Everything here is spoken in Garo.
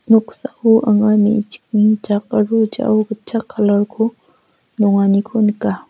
noksao anga me·chikni jak aro jao gitchak kalar ko nonganiko nika.